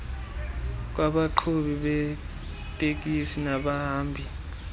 kwabaqhubi beetekisi nabahambi